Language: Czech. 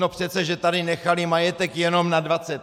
No přece že tady nechali majetek jenom na 20 let!